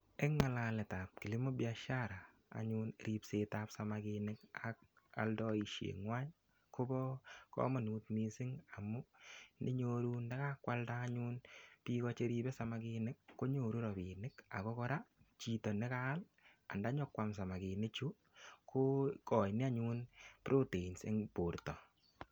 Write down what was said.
Eng' ng'alekab kilimo biashara anyun ripsetab samakinik ak aldoishe ng'wai kobo komonut mising' amu inyoru ndikakwalda anyun biko cheribei samakinik konyoru robinik ako kora chito nekaal andanyikwam samakini chu kokoini anyun proteins eng' borto